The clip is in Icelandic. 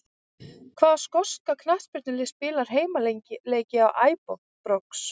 Hvaða skoska knattspyrnulið spilar heimaleiki á Æbrox?